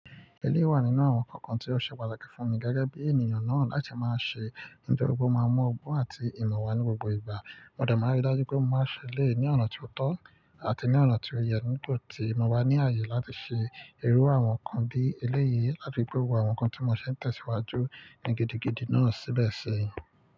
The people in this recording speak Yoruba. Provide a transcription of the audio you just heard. Eléyii wa nínú àwọn nkankan tí ó ṣe pàtàkì fún mi gẹ́gẹ́ bí ènìyàn náà láti máa ṣe nitori pe o máa n mu ọgbọ́n àti ìmọ̀ wa ní gbogbo ìgbà. Mo dẹ̀ máa n rí i dájú pé mo máa ṣe eléyìí ní ọ̀nà tí ó tọ́ àti ní ọ̀nà tí ó yẹ, nígbà tí mọ̀ ba ní ààyè láti ṣe irú àwọn nǹkan bí eléyìí àfi pe gbogbo àwọn nǹkan tí mo ṣe ń tẹ̀síwájú ní gidigidi náà síbẹ̀ sí.